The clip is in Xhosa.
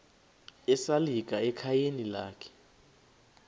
esalika ekhayeni lakhe